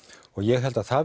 og ég held að það